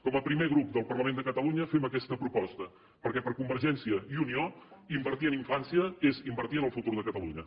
com a primer grup del parlament de catalunya fem aquesta proposta perquè per convergència i unió invertir en infància és invertir en el futur de catalunya